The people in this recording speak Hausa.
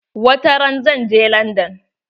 Wata ran zan je landan.